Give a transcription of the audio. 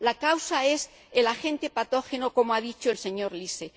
La causa es el agente patógeno, como ha dicho el señor Liese.